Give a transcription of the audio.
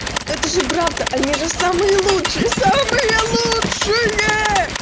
это же правда они же самые лучшие самые лучшие